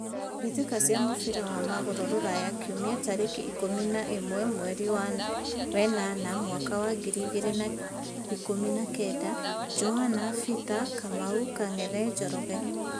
Mbĩtĩka cia mũbira wa magũrũ Ruraya Kiumia tarĩki ikũmi na ĩmwe mweri wenana mwaka wa ngiri igĩrĩ na ikũmi na kenda: Johana, Bita, Kamau, Kang'ethe, Njoroge.